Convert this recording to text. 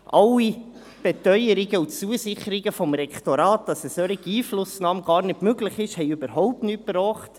Alle Beteuerungen und Zusicherungen des Rektorats, dass eine solche Einflussnahme gar nicht möglich ist, brachten überhaupt nichts.